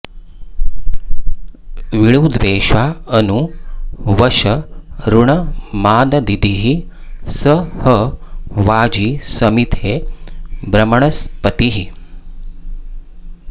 वीळुद्वेषा अनु वश ऋणमाददिः स ह वाजी समिथे ब्रह्मणस्पतिः